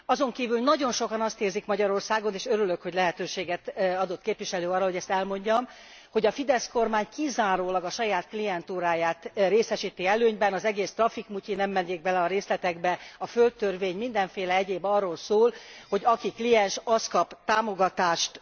Azonkívül, nagyon sokan azt érzik Magyarországon, és örülök, hogy lehetőséget adott képviselő úr arra, hogy ezt elmondjam, hogy a Fidesz kormány kizárólag a saját klientúráját részesíti előnyben, az egész trafikmutyi nem mennék bele a részletekbe a földtörvény, mindenféle egyéb arról szól, hogy aki kliens az kap támogatást.